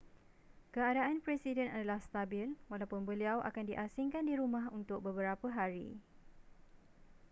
keadaan presiden adalah stabil walaupun beliau akan di asingkan di rumah untuk beberapa hari